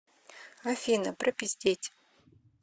афина пропиздеть